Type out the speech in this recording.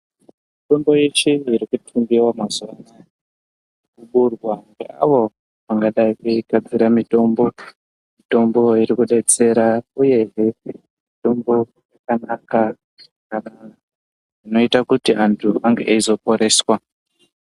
Mitombo yeshe iri kutengiwa mazuwa anaya kuburwa ngeaayo angadai eigadzira mutombo mitombo iri kudetsera uyehe mutombo yakanaka zvakanaka zvinoite kuti antu ange eizoporeswa.